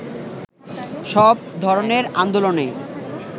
সব ধরণের আন্দোলনে